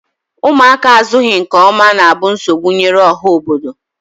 ụmụaka azụghị nke ọma na-abụ nsogbu nyere ọha obodo.